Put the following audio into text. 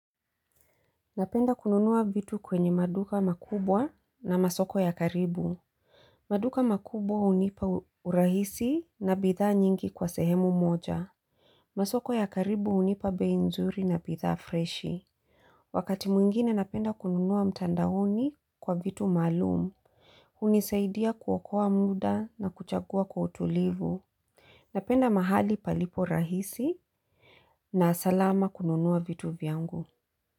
Napenda kununua vitu kwenye maduka makubwa na masoko ya karibu. Maduka makubwa hunipa urahisi na bidhaa nyingi kwa sehemu moja. Masoko ya karibu unipa bei nzuri na bidhaa freshi. Wakati mwingine napenda kununua mtandaoni kwa vitu maalumu. Unisaidia kuokoa muda na kuchagua kwa utulivu. Napenda mahali palipo rahisi na salama kununua vitu vyangu.